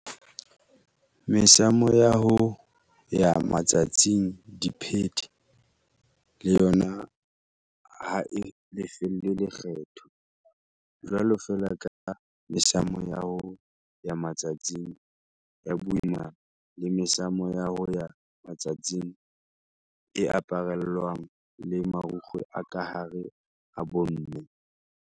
Mesamo ya ho ya matsatsing, diphete, le yona ha e lefellwe lekgetho, jwalo feela ka mesamo ya ho ya matsatsing ya boimana le mesamo ya ho ya matsatsing e aparellwang le marukgwe a ka hare a bomme.